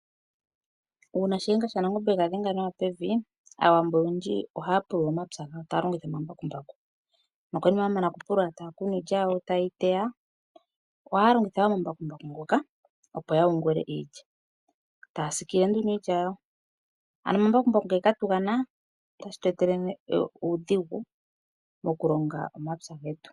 Uuna shihenga shaNangombe ega dhenga nawa pevi aawambo oyendji ohaapulula omapywa gawo taalongitha omambakumbaku. Nokonima yamana kupulula taakunu iilya yawo tayeyiteya. Ohaalongitha omambakumbaku ngoka opo yayungule iilya. Taasiikile nduno iilya yawo, ano omambakumbaku ngele katugana tashitweetele nee uudhigu mokulonga omapywa getu.